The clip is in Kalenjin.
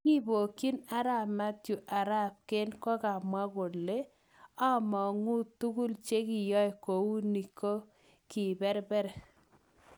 Kibokyin arap Mathew, arap Kane kokamwa:"omogu tugul chekiyoe kouni kiberber.